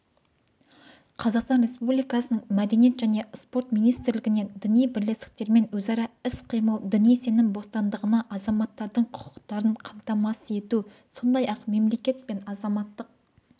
қазақстан республикасының мәдениет және спорт министрлігінен діни бірлестіктермен өзара іс-қимыл діни сенім бостандығына азаматтардың құқықтарын қамтамасыз ету сондай-ақ мемлекет пен азаматтық